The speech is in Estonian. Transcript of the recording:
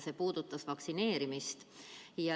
See puudutab vaktsineerimist.